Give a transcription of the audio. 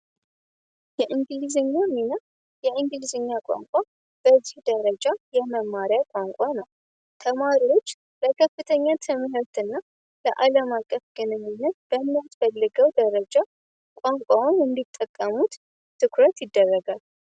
የእንግሊዝኛ ሚና የእንግሊዝኛ ቋንቋ በእጅጉ ደረጃ የመማሪያ ቋንቋ ነው። ተማሪዎች በከፍተኛ ትምህርት እና የዓለም አቀፍ ግንኙነት በምትፈልገው ደረጃ ቋንቋው እንዲጠቀሙት ትኩረት ይደረጋል።